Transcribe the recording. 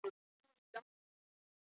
Það var alveg eins ég sem afskrifaði hann.